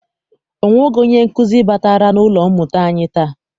Ọ nwebeghị onye nkụzi batara n'ụlọ mmụta anyi taa.